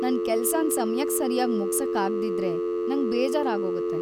ನನ್ ಕೆಲ್ಸನ್ ಸಮಯಕ್ ಸರ್ಯಾಗ್ ಮುಗ್ಸಕ್ ಆಗ್ದಿದ್ರೆ ನಂಗ್‌ ಬೇಜಾರಾಗೋಗತ್ತೆ.